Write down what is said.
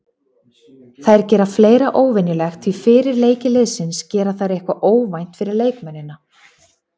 Þær gera fleira óvenjulegt því fyrir leiki liðsins gera þær eitthvað óvænt fyrir leikmennina.